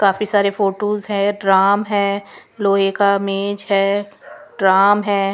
काफी सारे फोटोस है ड्राम है लोहे का मेज है ड्राम है.